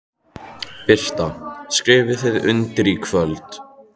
Birta: Skrifið þið undir í kvöld?